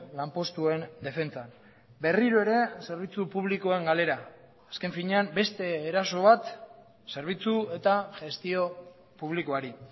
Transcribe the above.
lanpostuen defentsan berriro ere zerbitzu publikoen galera azken finean beste eraso bat zerbitzu eta gestio publikoari